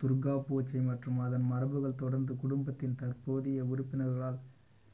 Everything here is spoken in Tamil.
துர்கா பூசை மற்றும் அதன் மரபுகள் தொடர்ந்து குடும்பத்தின் தற்போதைய உறுப்பினர்களால்